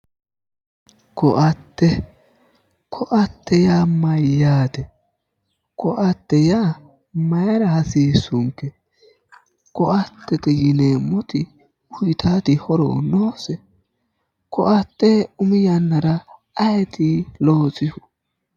Koatte, koatte yaa mayyaate? koatte yaa maayiira hasiissunke? koatte yineemmoti uuyiitaati horo noose? koatte umi yannara ayi loosino?